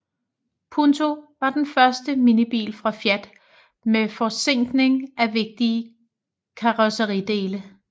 Punto var den første minibil fra Fiat med forzinkning af vigtige karrosseridele